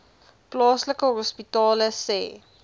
plaaslike hospitale sê